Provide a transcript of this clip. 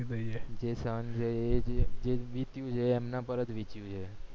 જે વીત્યું છે એમના પર જ વીત્યું જે